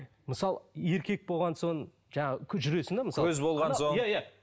мысалы еркек болған соң жаңа жүресің де көз болған соң иә иә